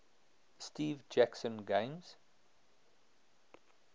steve jackson games